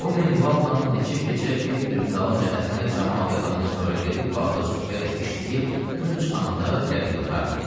Bu minvalla neçə gecə bir-birinin dalınca Əhməd camaat yatandan sonra gedib bağda sübhədək işləyib, gün çıxanda gəlib yatardı.